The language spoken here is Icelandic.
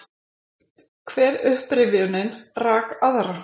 Hver upprifjunin rak aðra.